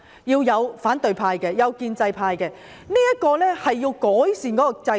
要有建制派議員，亦要有反對派議員，從而改善制度。